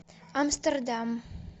амстердам